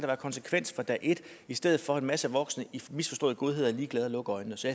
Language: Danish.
være konsekvens fra dag et i stedet for at en masse voksne i misforstået godhed er ligeglade og lukker øjnene så